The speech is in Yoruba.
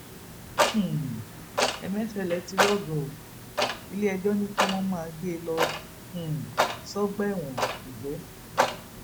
um ẹmẹfẹlẹ ti rọgọ o iléẹjọ ní kí wọn máa gbé e lọ um sọgbà ẹwọn kújẹ